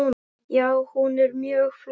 Já, hún er mjög flott.